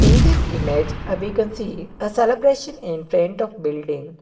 this image uh we can see uh celebration in front of building.